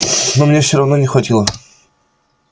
но мне всё равно не хватило